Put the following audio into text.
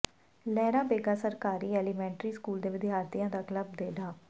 ਲਹਿਰਾ ਬੇਗਾ ਸਰਕਾਰੀ elementary school ਦੇ ਵਿਦਿਆਰਥੀਆਂ ਦਾ ਕਲੱਬ ਤੇ ਡਾ